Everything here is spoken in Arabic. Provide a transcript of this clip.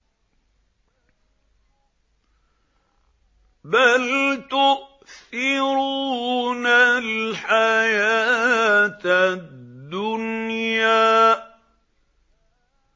بَلْ تُؤْثِرُونَ الْحَيَاةَ الدُّنْيَا